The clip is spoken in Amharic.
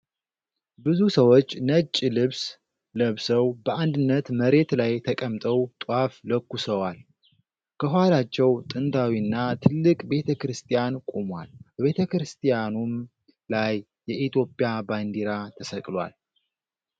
ብዙ ሰዎች ነጭ ልብስ ለብሰው በአንድነት መሬት ላይ ተቀምጠው ጧፍ ለኩሰዋል። ከኋላቸው ጥንታዊና ትልቅ ቤተ ክርስቲያን ቆሟል፤ በቤተ ክርስቲያኑም ላይ የኢትዮጵያ ባንዲራ ተሰቅሏል።